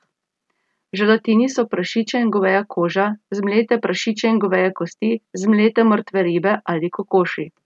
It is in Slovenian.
V želatini so prašičja in goveja koža, zmlete prašičje in goveje kosti, zmlete mrtve ribe ali kokoši.